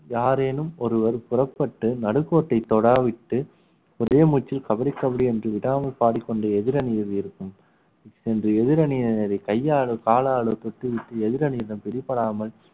யாரேனும் ஒருவர் புறப்பட்டு நடுக்கோட்டை தொடா விட்டு ஒரே மூச்சில் கபடி கபடி என்று விடாமல் பாடிக்கொண்டு எதிரணியில் இருக்கும் இன்று எதிரணியினரை கையாளும் காலால் குத்திவிட்டு எதிரணியிடம் பிடிபடாமல்